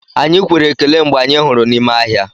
Anyị kwere ekele mgbe anyị hụrụ n'ime ahịa.